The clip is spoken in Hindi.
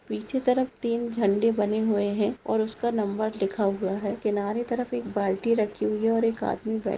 पीछे तरफ तीन झंडे बने हुए हैं और उसका नंबर लिखा हुआ है किनारे तरफ एक बाल्टी रखी हुई है और एक आदमी बै--